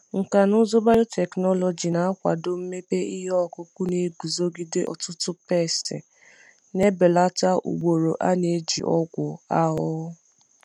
Nkà na ụzụ biotechnology na-akwado mmepe ihe ọkụkụ na-eguzogide ọtụtụ pesti, na-ebelata ugboro a na-eji ọgwụ ahụhụ.